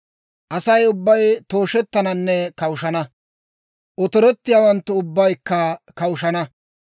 Asay ubbay tooshettananne kawushana; otorettiyaawanttu ubbaykka kawushana.